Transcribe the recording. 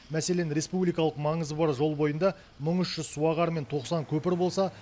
мәселен республикалық маңызы бар жол бойында мың үш жүз суағар мен тоқсан көпір болса